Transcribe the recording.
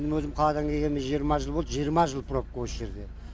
менің өзім қаладан келгеніме жиырма жыл болды жиырма жыл пробка осы жерде